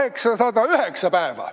Edu ja jõudu!